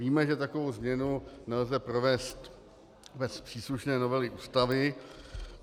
Víme, že takovou změnu nelze provést bez příslušné novely Ústavy.